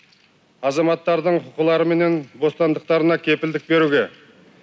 азаматтардың құқылары менен бостандықтарына кепілдік беруге